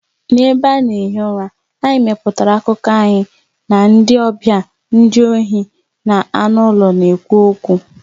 N'ebe a na-ehi ụra, anyị mepụtara akụkọ anyị na ndị ọbịa, ndị ohi, na anụ ụlọ na-ekwu okwu.